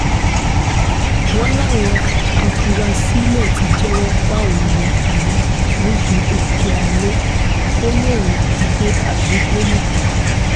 wọ́n láwọn afurasí náà ti jẹ́wọ́ pawọn ní fìrí-nídìí-òkè alo-kòlóhun-kígbe agbègbè náà